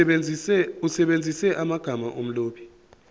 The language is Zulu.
usebenzise amagama omlobi